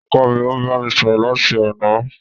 Ọkọ mi ò bámi sọ̀rọ̀ láti àná.